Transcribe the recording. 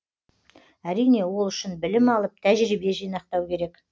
әрине ол үшін білім алып тәжірибе жинақтау керек